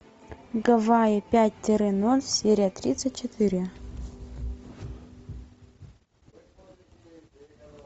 гавайи пять тире ноль серия тридцать четыре